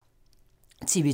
TV 2